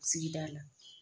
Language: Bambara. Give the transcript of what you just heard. Sigida la